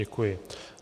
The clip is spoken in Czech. Děkuji.